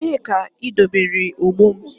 Ebee ka idobere ogbo m?